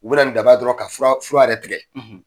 U bɛ na ni daba ye dɔrɔn ka fura fura yɛrɛ tigɛ